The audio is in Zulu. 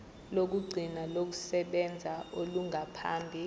lokugcina lokusebenza olungaphambi